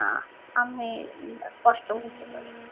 না আমি স্পষ্ট বুঝতে পারি